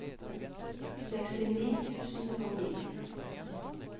sekstini tusen og ni